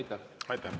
Aitäh!